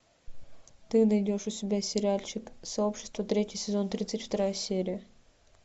ты найдешь у себя сериальчик сообщество третий сезон тридцать вторая серия